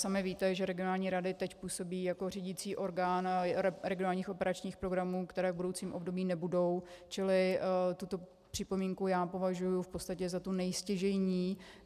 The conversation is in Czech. Sami víte, že regionální rady teď působí jako řídící orgán regionálních operačních programů, které v budoucím období nebudou, čili tuto připomínku já považuji v podstatě za tu nejstěžejnější.